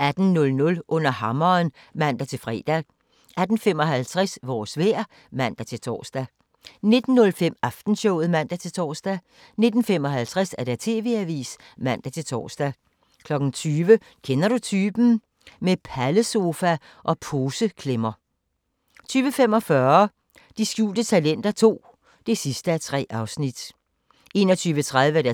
18:00: Under hammeren (man-fre) 18:55: Vores vejr (man-tor) 19:05: Aftenshowet (man-tor) 19:55: TV-avisen (man-tor) 20:00: Kender du typen? – Med pallesofa og poseklemmer 20:45: De skjulte talenter II (3:3) 21:30: